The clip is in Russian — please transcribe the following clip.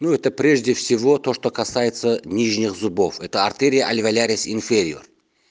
ну это прежде всего то что касается нижних зубов это артерия альвэолярис инфэриор